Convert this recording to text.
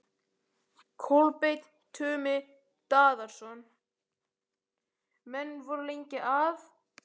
Kolbeinn Tumi Daðason: Menn voru lengi að?